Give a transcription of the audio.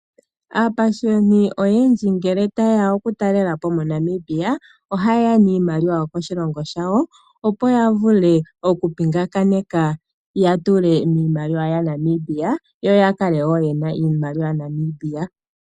Aapashiyoni oyendji ngele tabyeya oku talelapo monamibia oha yeya niimaliwa yokoshilongo shawo opo yavule oku pingakanitha yatule miimaliwa ya Namibia yo yakale woo yena iimaliwa ya Namibia.